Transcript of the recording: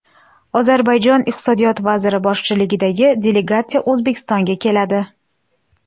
Ozarbayjon iqtisodiyot vaziri boshchiligidagi delegatsiya O‘zbekistonga keladi.